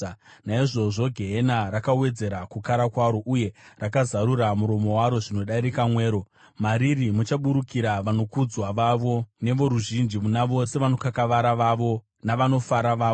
Naizvozvo gehena rakawedzera kukara kwaro, uye rakazarura muromo waro zvinodarika mwero; mariri muchaburukira vanokudzwa vavo nevoruzhinji, navose vanokakavara vavo navanofara vavo.